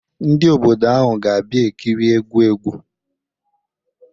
Ndị obodo ahụ ga-abịa ekiri egwu egwu